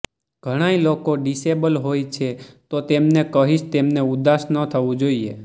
ઘણાય લોકો ડિસેબલ હોય છે તો તેમને કહીશ તેમને ઉદાસ ન થવું જોઈએ